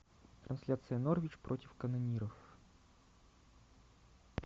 трансляция норвич против канониров